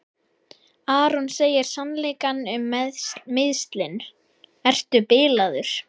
Aron segir sannleikann um meiðslin: Ertu bilaður?